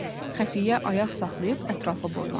Xəfiyyə ayaq saxlayıb ətrafa boylandı.